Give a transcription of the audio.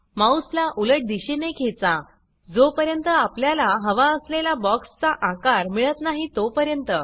माउसला उलट दिशेने खेचा जोपर्यन्त आपल्याला हवा असलेला बॉक्सचा आकार मिळत नाही तोपर्यंत